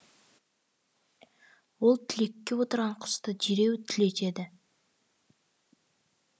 ол түлекте отырған құсты дереу түлетеді